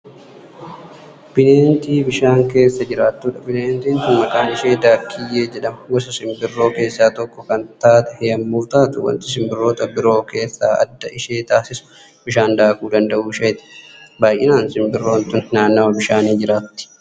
Bineentii bishaan keessa jiraattudha. bineentiin tuni maqaan ishee daakkiyyee jedhama. gosoota sinbirroo keessaa tokko Kan taatee yommuu taatu wanti sinbirroota biroo keessaa adda ishee taasisu bishaan daakuu danda'uu isheetti. baay'anaan sinbirroon tuni naannawa bishaanii jiraatti.